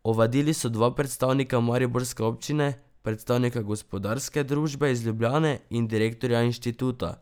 Ovadili so dva predstavnika mariborske občine, predstavnika gospodarske družbe iz Ljubljane in direktorja inštituta.